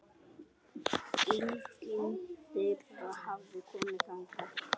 Enginn þeirra hafði komið þangað.